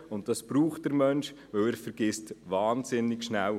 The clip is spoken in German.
Und das braucht der Mensch, denn er vergisst wahnsinnig schnell.